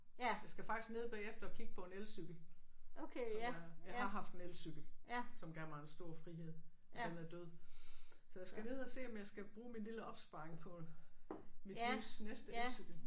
Jeg skal faktisk ned bagefter og kigge på en elcykel som jeg jeg har haft en elcykel som gav mig en stor frihed men den er død så jeg skal ned og se om jeg skal bruge min lille opsparing på mit livs næste elcykel